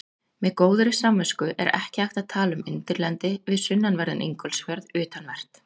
Með góðri samvisku er ekki hægt að tala um undirlendi við sunnanverðan Ingólfsfjörð, utanvert.